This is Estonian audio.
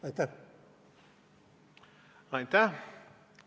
Aitäh!